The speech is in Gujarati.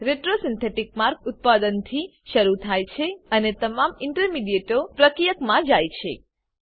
રેટ્રોસિન્થેટિક માર્ગ ઉત્પાદનથી શરુ થાય છે અને તમામ ઇન્ટરમિડીયેટો પ્રક્રિયકમાં જાય છે